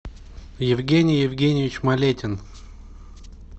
евгений евгеньевич малетин